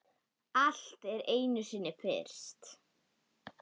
Allt er einu sinni fyrst.